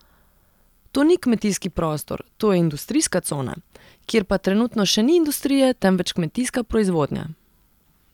To ni kmetijski prostor, to je industrijska cona, kjer pa trenutno še ni industrije, temveč kmetijska proizvodnja.